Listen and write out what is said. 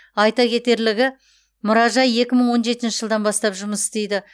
айта кетерлігі мұражай екі мың он жетінші жылдан бастап жұмыс істейді